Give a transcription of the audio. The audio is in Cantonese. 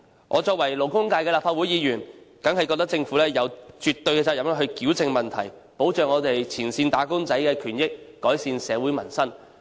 我作為代表勞工界的立法會議員，當然認為政府有絕對責任矯正問題，保障前線"打工仔"的權益，改善社會民生。